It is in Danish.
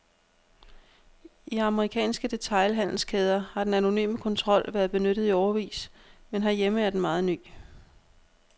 I amerikanske detailhandelskæder har den anonyme kontrol været benyttet i årevis, men herhjemme er den meget ny.